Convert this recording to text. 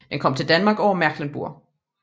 Den kom til Danmark over Mecklenburg